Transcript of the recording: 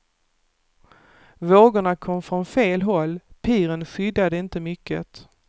Vågorna kom från fel håll, piren skyddade inte mycket.